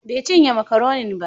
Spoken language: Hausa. Bai cinye makaronin ba.